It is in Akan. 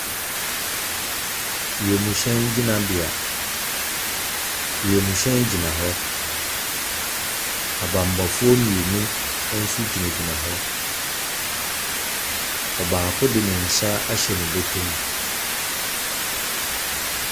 Wiam hyɛn gyinabea. Wiam hyɛn gyina hɔ. Abanbɔfoɔ mmienu nso gyinagyina hɔ. Ɔbaako de ne nsa ahyɛ ne bɔtɔm.